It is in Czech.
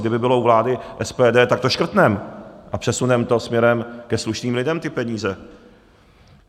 Kdyby bylo u vlády SPD, tak to škrtneme a přesuneme to směrem ke slušným lidem, ty peníze.